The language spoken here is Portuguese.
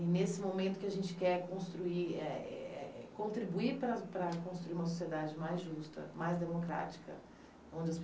E, nesse momento, o que a gente quer construir é é contribuir para para construir uma sociedade mais justa, mais democrática. Onde as